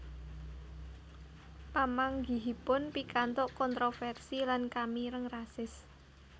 Pamanggihipun pikantuk kontroversi lan kamireng rasis